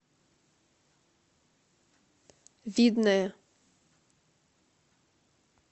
видное